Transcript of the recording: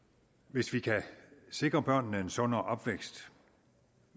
hvis vi kan sikre børnene en sundere opvækst